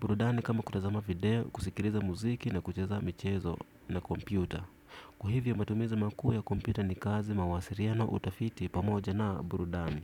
burudani kama kutazama video, kusikiliza mziki na kucheza michezo na kompyuta. Kwa hivyo matumiza makuu ya kompyuta ni kazi mawasiliano utafiti pamoja na burudani.